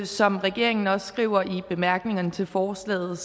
som regeringen også skriver i bemærkningerne til forslaget